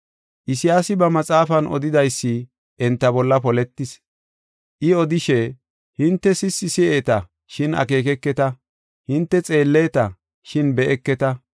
“Isayaasi ba maxaafan odidaysi enta bolla poletis. I odishe, “ ‘Hinte sissi si7eeta, shin akeekeketa; hinte xeelleta, shin be7eketa.